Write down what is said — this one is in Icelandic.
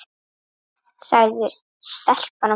sagði stelpan og benti.